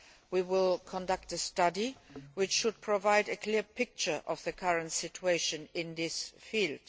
We will conduct a study, which should provide a clear picture of the current situation in this field.